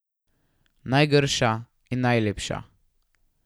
Najgrša in najlepša.